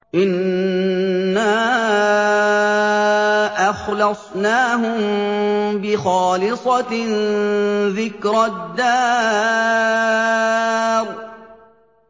إِنَّا أَخْلَصْنَاهُم بِخَالِصَةٍ ذِكْرَى الدَّارِ